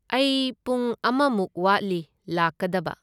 ꯑꯩ ꯄꯨꯡ ꯑꯃꯃꯨꯛ ꯋꯥꯠꯂꯤ ꯂꯥꯛꯀꯗꯕ꯫